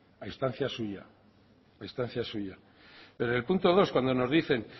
a instancia suya a instancia suya pero el punto dos cuando nos dicen